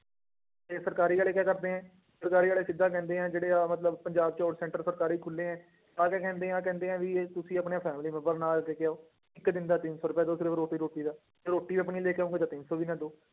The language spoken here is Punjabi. ਤੇ ਸਰਕਾਰੀ ਵਾਲੇ ਕੀ ਕਰਦੇ ਆ, ਸਰਕਾਰੀ ਵਾਲੇ ਸਿੱਧਾ ਕਹਿੰਦੇ ਆ, ਜਿਹੜਾ ਆਹ ਮਤਲਬ ਪੰਜਾਬ ਚ ਹੁਣ center ਸਰਕਾਰੀ ਖੁੱਲੇ ਹੈ, ਆਹ ਤੇ ਕਹਿੰਦੇ ਆਹ ਕਹਿੰਦੇ ਆ ਵੀ ਇਹ ਤੁਸੀਂ ਆਪਣੇ family ਮੈਂਬਰ ਨੂੰ ਨਾਲ ਲੈ ਕੇ ਆਓ, ਇੱਕ ਦਿਨ ਦਾ ਤਿੰਨ ਸੌ ਰੁਪਇਆ ਤੇ ਉਹ ਸਿਰਫ਼ ਰੋਟੀ ਰੋਟੀ ਦਾ, ਜੇ ਰੋਟੀ ਆਪਣੀ ਲੈ ਕੇ ਆਓਗੇ ਤਾਂ ਤਿੰਨ ਸੌ ਵੀ ਨਾ ਦਓ।